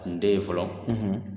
N den ye fɔlɔ